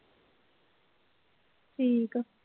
ਠੀਕ ਐ।